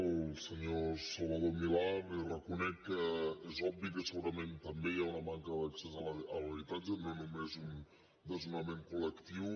al senyor salvador milà li reco·nec que és obvi que segurament també hi ha una man·ca d’accés a l’habitatge no només un desnonament col·lectiu